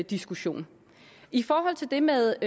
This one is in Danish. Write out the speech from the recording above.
diskussion i forhold til det med